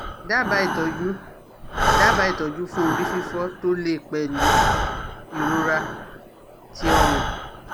Daba itọ́ju Daba itoju fun ori fifo to le pelu irora ti ọ́rùn